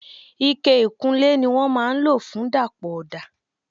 Ike ìkunlé ni wọ́n máa ń lo fun dapọ ọda.